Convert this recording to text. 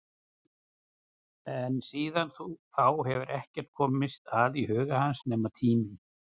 En síðan þá hefur ekkert komist að í huga hans nema tíminn.